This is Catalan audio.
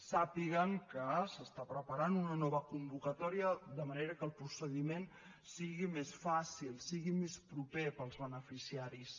sàpiguen que s’està preparant una nova convocatòria de manera que el procediment sigui més fàcil sigui més proper per als beneficiaris